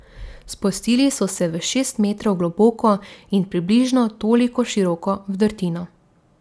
Spustili so se v šest metrov globoko in približno toliko široko vdrtino.